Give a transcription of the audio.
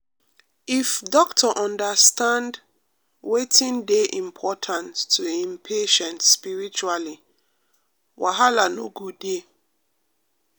um if doctor understand um wetin dey important to en patient spiritually wahala no go dey. um